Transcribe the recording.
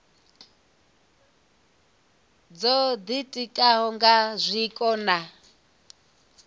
dzo ditikaho nga zwiko na